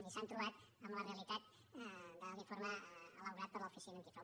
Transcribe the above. i s’han trobat amb la realitat de l’informe elaborat per l’oficina antifrau